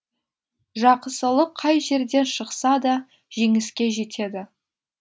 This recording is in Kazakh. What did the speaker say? жақысылық қай жерден шықса да жеңіске жетеді